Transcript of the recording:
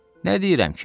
Nə deyirəm ki?